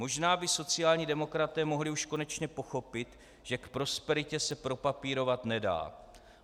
Možná by sociální demokraté mohli už konečně pochopit, že k prosperitě se propapírovat nedá."